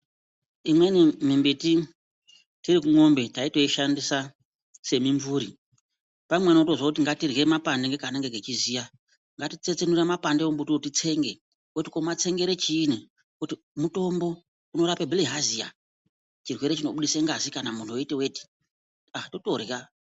Imweni mimbiti tiri kumombe taitoishandisa semimvuri. Pamweni wotozwa kuti ngatirye mapande ngekanenge kechiziya, ngatitsetsenure mapande ombuti uwu titsenge. Woti tomatsengere chiini, woti mutombo, unorape bhlihaziya, chirwere chinobudise ngazi kana muntu weiite weti, ah totorya.